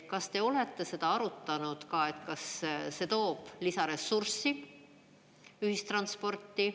Kas te olete seda arutanud ka, kas see toob lisaressurssi ühistransporti?